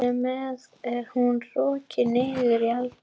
Þar með er hún rokin niður í eldhús.